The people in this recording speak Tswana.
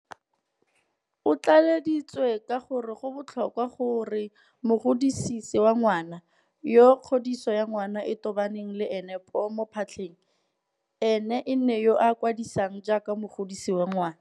O tlaleleditse ka gore go botlhokwa gore mogodisi wa ngwana, yo kgodiso ya ngwana e tobaneng le ena poo mo phatlheng, e nne ene yo a kwadisiwang jaaka mogodisi wa ngwana.